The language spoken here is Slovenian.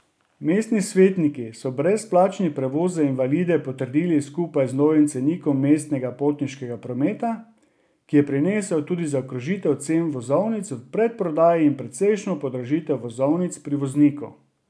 Mestni svetniki so brezplačni prevoz za invalide potrdili skupaj z novim cenikom mestnega potniškega prometa, ki je prinesel tudi zaokrožitev cen vozovnic v predprodaji in precejšnjo podražitev vozovnic pri vozniku.